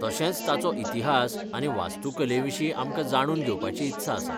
तशेंच ताचो इतिहास आनी वास्तुकलेविशीं आमकां जाणून घेवपाची इत्सा आसा.